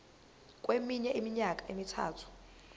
kweminye iminyaka emithathu